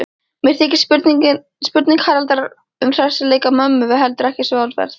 Mér þykir spurning Haraldar um hressileika mömmu heldur ekki svaraverð.